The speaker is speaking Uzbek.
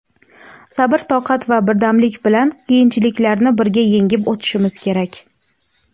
Sabr toqat va birdamlik bilan qiyinchiliklarni birga yengib o‘tishimiz kerak.